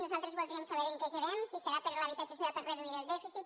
nosaltres voldríem saber en què quedem si serà per a l’habitatge o serà per a reduir el dèficit